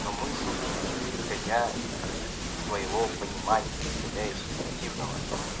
но мы судим исходя из своего понимания исходя из субъективного